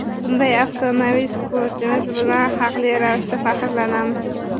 Bunday afsonaviy sportchimiz bilan haqli ravishda faxrlanamiz.